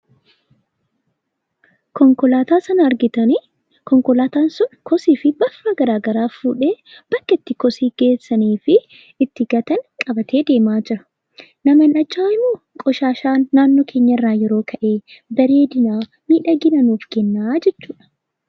Konkolaataa sana argitanii?, Konkolaataan sun kosii fi balfa garagaraa fuudhee bakka itti kosii geessanii fi itti gatan qabatee deemaa jira. Namoonni achi jiruu? Kosiin naannoo keenya irraa yeroo ka'e bareedinaa fi miidhaginaa nuuf kennaa jechuudha.